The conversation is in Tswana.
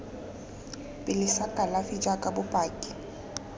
pele sa kalafi jaaka bopaki